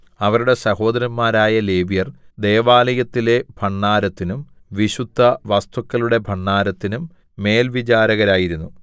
അവരുടെ സഹോദരന്മാരായ ലേവ്യർ ദൈവലായത്തിലെ ഭണ്ഡാരത്തിനും വിശുദ്ധവസ്തുക്കളുടെ ഭണ്ഡാരത്തിനും മേൽവിചാരകരായിരുന്നു